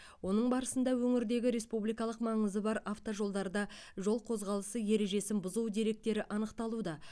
оның барысында өңірдегі республикалық маңызы бар автожолдарда жол қозғалысы ережесін бұзу деректері анықталуда